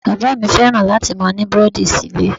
Bàbá mi fẹ́ràn láti máa ní búrẹ́dì síle.